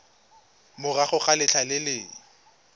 morago ga letlha le le